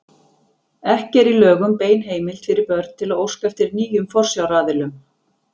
Ekki er í lögum bein heimild fyrir börn til að óska eftir nýjum forsjáraðilum.